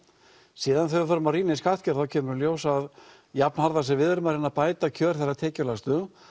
síðan þegar við förum að rýna í skattkerfið þá kemur í ljós að jafnharðan sem við erum að reyna að bæta kjör þeirra tekjulægstu